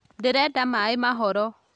Ndĩrenda maĩ mahoro